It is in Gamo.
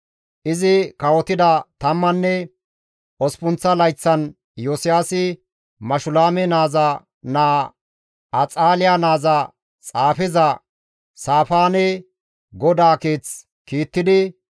Izi kawotida tammanne osppunththa layththan Iyosiyaasi Mashulaame naaza naa Axaaliya naaza xaafeza Saafaane GODAA Keeth kiittidi,